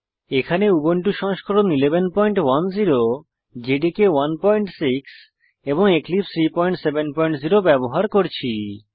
এখানে উবুন্টু সংস্করণ 1110 জেডিকে 16 এবং এক্লিপসে 370 ব্যবহার করছি